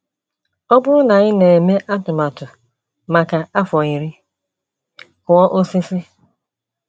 Ọ bụrụ na ị na - eme atụmatụ maka afọ iri, kụọ osisi.